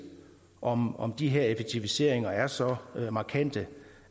om om de her effektiviseringer er så markante